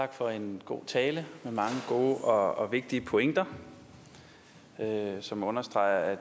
tak for en god tale med mange gode og vigtige pointer som understreger at